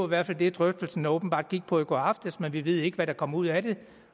hvert fald det drøftelserne åbenbart gik på i går aftes men vi ved ikke hvad der kom ud af det